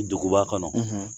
Duguba kɔnɔ